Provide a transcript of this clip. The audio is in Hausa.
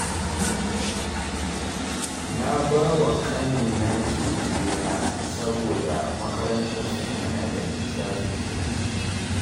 Na bawa ƙanina kekena, saboda makarantarsu tana da nisa sosai